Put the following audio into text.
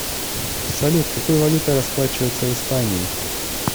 салют какой валютой расплачиваются в испании